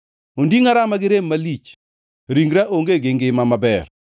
Ondingʼa rama gi rem malich; ringra onge gi ngima maber.